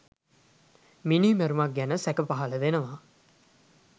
මිනීමැරුමක් ගැන සැක පහලවෙනවා